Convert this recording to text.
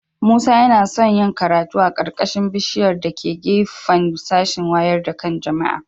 Musa yana son yin karatu a ƙarƙashin bishiƴar da ke gefen sashin waƴar da kan jama'a